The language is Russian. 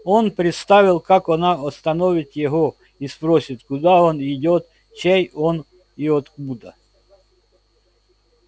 он представил как она остановит его и спросит куда он идёт чей он и откуда